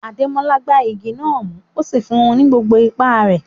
Ademola gbá igi náà mú, ó sì fún un ní gbogbo ipá rẹ̀.